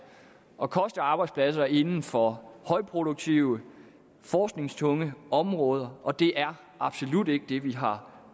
og koste arbejdspladser inden for højproduktive forskningstunge områder og det er absolut ikke det vi har